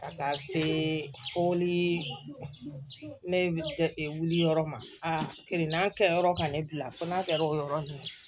Ka taa se foli ne wuli yɔrɔ ma kirina kɛ yɔrɔ ka ne bila fo n'a kɛra o yɔrɔ la